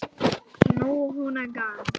Nýtt hunang.